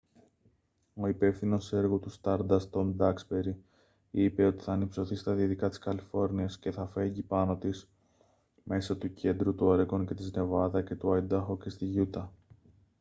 ο υπεύθυνος έργου του stardust τομ ντάξμπερι είπε ότι «θα ανυψωθεί στα δυτικά της καλιφόρνιας και θα φέγγει πάνω της μέσω του κέντρου του όρεγκον και της νεβάδα και του αϊντάχο και στη γιούτα»